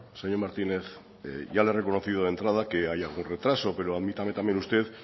señor martínez ya le he reconocido de entrada que hay algún retraso pero admítame también usted